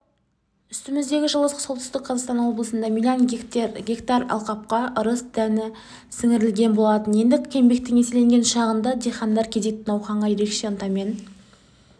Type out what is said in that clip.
үстіміздегі жылы солтүстік қазақстан облысында млн гектар алқапқа ырыс дәні сіңірілген болатын енді еңбектің еселенген шағында диқандар кезекті науқанға ерекше ынтамен